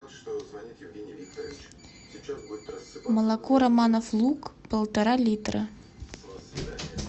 молоко романов лук полтора литра